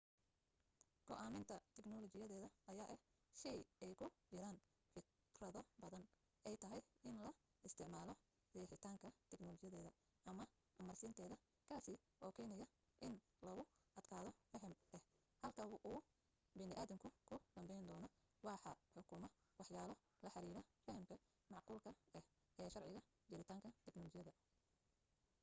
go'aaminta tignolajiyadeed ayaa ah shay ay ku jiraan firkado badan oo ay tahay in la isticmaalo riixitaanka tignolajideed ama amarsiinteeda kaasi oo kenaya in lagu adkaado faham ah halka uu bani adamku ku danbayndoono waxaa xukuma waxyaalo la xidhiidha fahamka macquulka ah ee sharciga jiritaanka tignolayadda